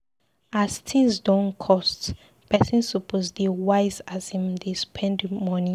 As tins don cost, pesin suppose dey wise as im dey spend moni.